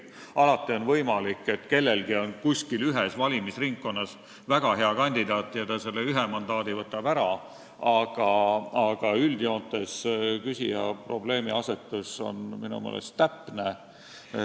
Alati on võimalik, et kellelgi on kuskil ühes valimisringkonnas väga hea kandidaat, kes võtab selle ühe mandaadi ära, aga üldjoontes on küsija probleemiasetus minu meelest täpne.